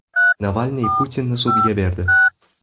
Navalniy Putinni sudga berdi.